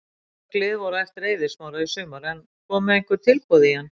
Mörg lið voru á eftir Eiði Smára í sumar en komu einhver tilboð í hann?